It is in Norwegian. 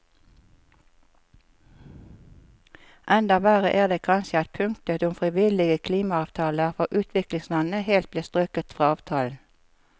Enda verre er det kanskje at punktet om frivillige klimaavtaler for utviklingslandene helt ble strøket fra avtalen.